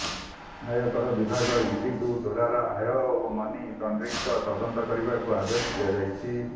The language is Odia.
ଆୟକର ବିଭାଗ ଇଡିଙ୍କୁ ଡେରାର ଆୟ ଓ ମନି ଲଣ୍ଡ୍ରିଂର ତଦନ୍ତ କରିବାକୁ ଆଦେଶ ଦିଆଯାଇଛି